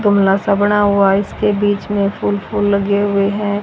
गमला सा बना हुआ है इसके बीच में फूल फूल लगे हुए हैं।